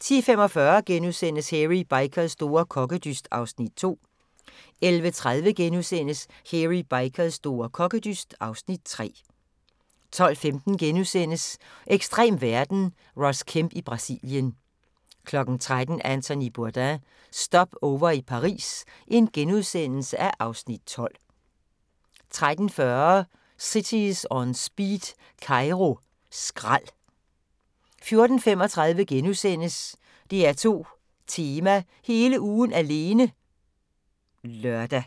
10:45: Hairy Bikers store kokkedyst (Afs. 2)* 11:30: Hairy Bikers store kokkedyst (Afs. 3)* 12:15: Ekstrem verden – Ross Kemp i Brasilien * 13:00: Anthony Bourdain – Stopover i Paris (Afs. 12)* 13:40: Cities On Speed - Kairo skrald 14:35: DR2 Tema: Hele ugen alene *(lør)